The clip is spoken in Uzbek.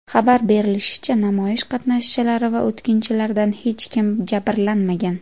Xabar berilishicha, namoyish qatnashchilari va o‘tkinchilardan hech kim jabrlanmagan.